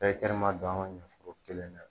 ma don an ka ɲɔ foro kelen na